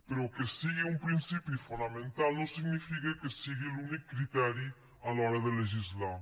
però que sigui un principi fonamental no significa que sigui l’únic criteri a l’hora de legislar